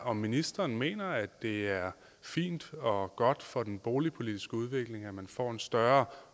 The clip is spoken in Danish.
om ministeren mener at det er fint og godt for den boligpolitiske udvikling at få en større